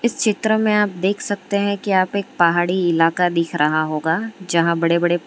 चित्र में आप देख सकते हैं कि आप एक पहाड़ी इलाका दिख रहा होगा जहां बड़े बड़े--